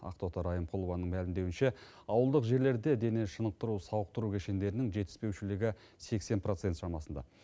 ақтоты райымқұлованың мәлімдеуінше ауылдық жерлерде дене шынықтыру сауықтыру кешендерінің жетіспеушілігі сексен процент шамасында